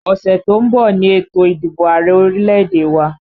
Ọ̀sẹ̀ tó ń bọ̀ ni ètò ìdìbò Ààrẹ orílẹ̀èdè wa